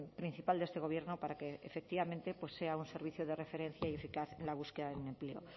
principal de este gobierno para que efectivamente pues sea un servicio de referencia y eficaz en la búsqueda de un empleo